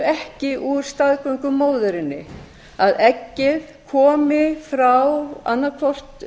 ekki úr staðgöngumóðurinni að eggið komi frá annað hvort